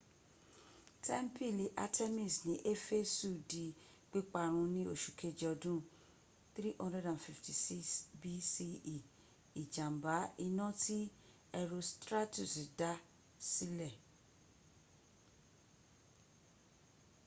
tẹ́ḿpìlì artemis ní éfésù di pípa run ní oṣù keje ọdún 356 bce ìjàmbá iná tí herostratus dá silesílè